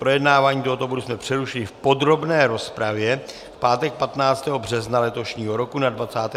Projednávání tohoto bodu jsme přerušili v podrobné rozpravě v pátek 15. března letošního roku na 27. schůzi.